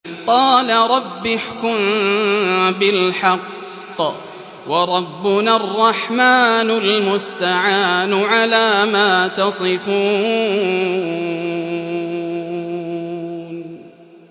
قَالَ رَبِّ احْكُم بِالْحَقِّ ۗ وَرَبُّنَا الرَّحْمَٰنُ الْمُسْتَعَانُ عَلَىٰ مَا تَصِفُونَ